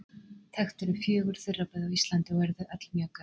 Þekkt eru fjögur þurraböð á Íslandi, og eru þau öll mjög gömul.